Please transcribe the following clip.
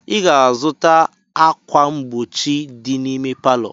Ị ga-azụta ákwà mgbochi dị n'ime palọ!